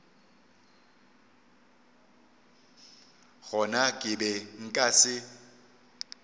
gona ke be nka se